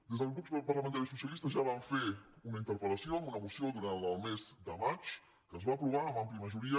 des del grup parlamentari socialista ja vam fer una interpel·lació amb una moció durant el mes de maig que es va aprovar amb àmplia majoria